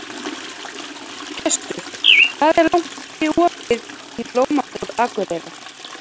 Gestar, hvað er lengi opið í Blómabúð Akureyrar?